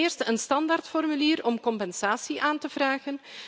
Ten eerste een standaardformulier om compensatie aan te vragen.